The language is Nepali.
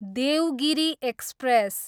देवगिरी एक्सप्रेस